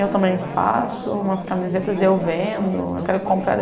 Eu também faço umas camisetas, e eu vendo, eu quero comprar.